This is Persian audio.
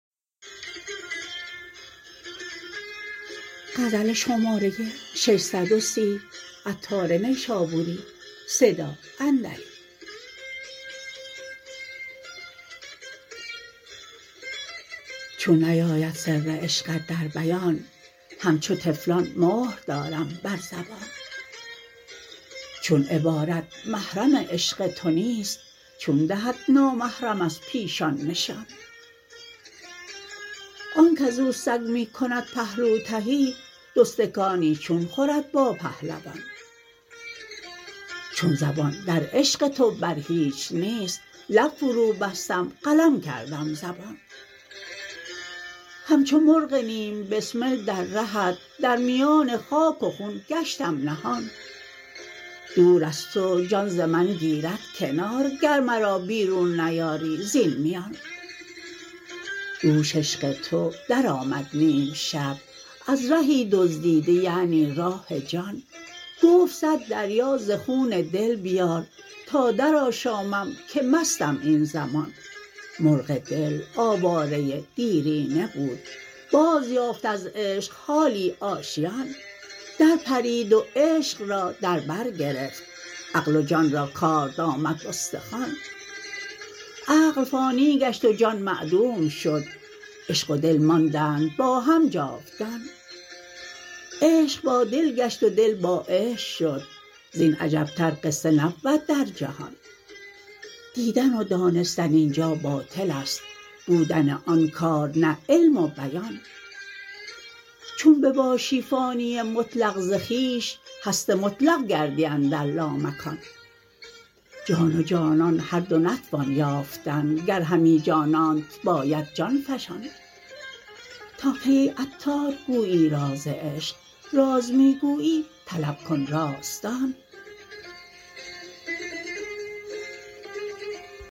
چون نیاید سر عشقت در بیان همچو طفلان مهر دارم بر زبان چون عبارت محرم عشق تو نیست چون دهد نامحرم از پیشان نشان آنک ازو سگ می کند پهلو تهی دوستکانی چون خورد با پهلوان چون زبان در عشق تو بر هیچ نیست لب فرو بستم قلم کردم زبان همچو مرغ نیم بسمل در رهت در میان خاک و خون گشتم نهان دور از تو جان ز من گیرد کنار گر مرا بیرون نیاری زین میان دوش عشق تو درآمد نیم شب از رهی دزدیده یعنی راه جان گفت صد دریا ز خون دل بیار تا در آشامم که مستم این زمان مرغ دل آواره دیرینه بود باز یافت از عشق حالی آشیان در پرید و عشق را در بر گرفت عقل و جان را کارد آمد به استخوان عقل فانی گشت و جان معدوم شد عشق و دل ماندند با هم جاودان عشق با دل گشت و دل با عشق شد زین عجب تر قصه نبود در جهان دیدن و دانستن اینجا باطل است بودن آن کار نه علم و بیان چون بباشی فانی مطلق ز خویش هست مطلق گردی اندر لامکان جان و جانان هر دو نتوان یافتن گر همی جانانت باید جان فشان تا کی ای عطار گویی راز عشق راز می گویی طلب کن رازدان